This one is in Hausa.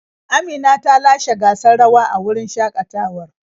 Amina ta lashe gasar rawa a wurin shakatawar.